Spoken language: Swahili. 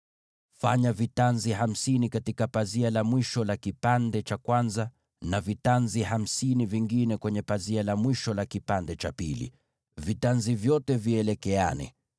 Fanya vitanzi hamsini katika pazia mmoja, na vitanzi vingine hamsini kwenye pazia la mwisho la fungu hilo lingine, nazo vitanzi vyote vielekeane.